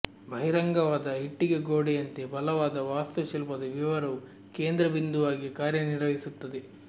ಬಹಿರಂಗವಾದ ಇಟ್ಟಿಗೆ ಗೋಡೆಯಂತೆ ಬಲವಾದ ವಾಸ್ತುಶಿಲ್ಪದ ವಿವರವು ಕೇಂದ್ರ ಬಿಂದುವಾಗಿ ಕಾರ್ಯನಿರ್ವಹಿಸುತ್ತದೆ